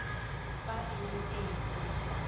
fa e le e nnye